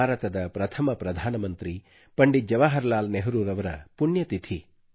ಭಾರತದ ಪ್ರಥಮ ಪ್ರಧಾನಮಂತ್ರಿ ಪಂಡಿತ್ ಜವಾಹರ್ ಲಾಲ್ ನೆಹರೂರವರ ಪುಣ್ಯತಿಥಿ